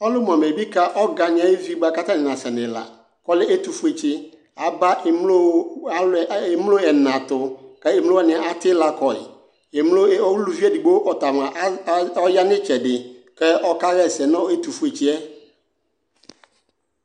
ɔlʋmʋ amɛbi ka ɔgani ayʋvi bua katani nasɛ nʋ ilaa kʋ ɔlɛ ɛtʋƒʋetsi aba ɛmlo ɛnatʋ kɛ emlo atilakɔi emlo ɛɔ ulʋvi edigbo ɔtamʋa ɔya nu itsɛdi kɛ ɔkaha ɛsɛ nʋ ɛtʋfuetsiɛ